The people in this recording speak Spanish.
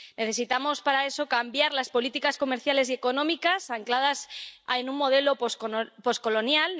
Necesitamos para eso cambiar las políticas comerciales y económicas, ancladas en un modelo poscolonial